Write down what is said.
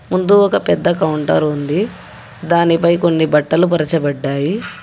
ముందు ఒక పెద్ద కౌంటర్ ఉంది దానిపై కొన్ని బట్టలు పరచబడ్డాయి.